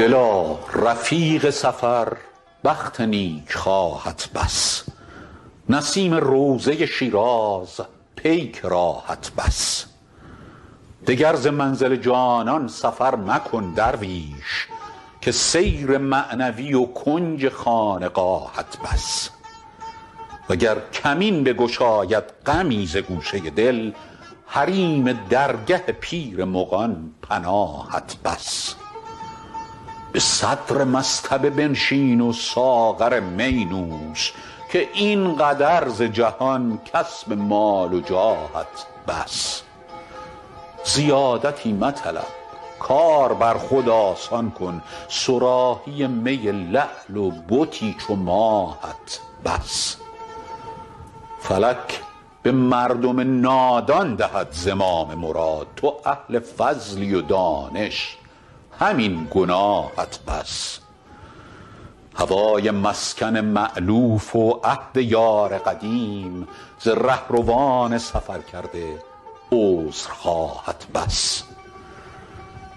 دلا رفیق سفر بخت نیکخواهت بس نسیم روضه شیراز پیک راهت بس دگر ز منزل جانان سفر مکن درویش که سیر معنوی و کنج خانقاهت بس وگر کمین بگشاید غمی ز گوشه دل حریم درگه پیر مغان پناهت بس به صدر مصطبه بنشین و ساغر می نوش که این قدر ز جهان کسب مال و جاهت بس زیادتی مطلب کار بر خود آسان کن صراحی می لعل و بتی چو ماهت بس فلک به مردم نادان دهد زمام مراد تو اهل فضلی و دانش همین گناهت بس هوای مسکن مألوف و عهد یار قدیم ز رهروان سفرکرده عذرخواهت بس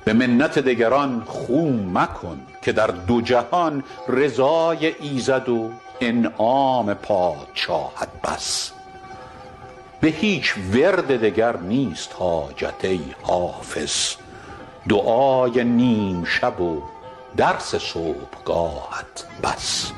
به منت دگران خو مکن که در دو جهان رضای ایزد و انعام پادشاهت بس به هیچ ورد دگر نیست حاجت ای حافظ دعای نیم شب و درس صبحگاهت بس